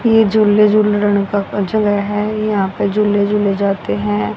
ये झूले झूल लड़का का जो है यहां पे झूले झूले जाते है।